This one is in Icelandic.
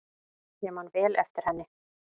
Ég man vel eftir henni.